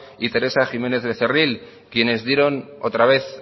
y teresa jiménez becerril quienes dieron otra vez